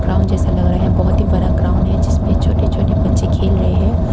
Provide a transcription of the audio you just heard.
Ground जैसा लग रहा है बहुत ही बरा ग्राउंड है जिसमें छोटे छोटे बच्चे खेल रहे हैं।